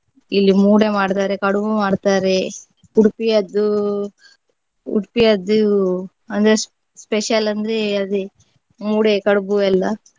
ಇಲ್ಲಿ ಮೂಡೆ ಮಾಡ್ತಾರೆ ಕಡುಬು ಮಾಡ್ತಾರೆ ಉಡುಪಿಯದ್ದು ಉಡುಪಿಯದ್ದು ಅಂದ್ರೆ s~ special ಅಂದ್ರೆ ಅದೇ ಮೂಡೆ ಕಡುಬು ಎಲ್ಲಾ.